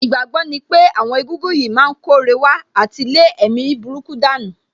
Ìgbàgbọ́ ní pé àwọn egúngún yìí má ń kóre wá àti lé èmi burúkú dànù